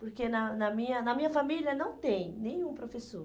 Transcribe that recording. Porque na na minha na minha família não tem nenhum professor.